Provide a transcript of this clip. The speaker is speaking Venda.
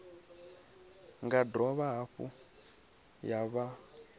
nga dovha hafhu ya fha